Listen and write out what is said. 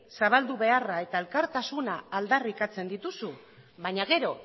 zabaldu beharra eta elkartasuna aldarrikatzen dituzu baina gero